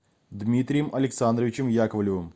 дмитрием александровичем яковлевым